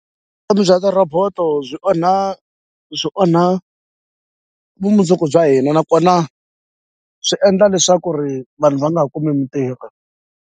bya ti robot-o byi onha byi onha vumundzuku bya hina nakona swi endla leswaku ri vanhu va nga kumi mintirho.